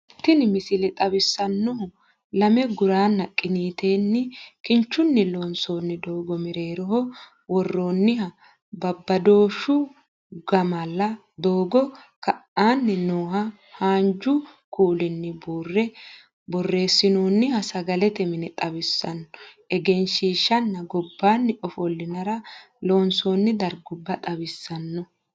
Tini misile xawissannohu lame guranna qiniiteenni kinchunni loonsoonni doogo, mereeroho worronniha badooshshu gammala, doogo ka'aanni nooha haanju kuulinni buurre borreessinooniha sagalete mine xawisanno egensiishshanna gobbaanni ofollinara loonsoonni dargubba xawissanno